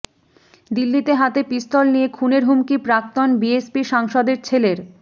দিল্লিতে হাতে পিস্তল নিয়ে খুনের হুমকি প্রাক্তন বিএসপি সাংসদের ছেলের